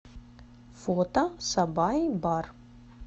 фото сабай бар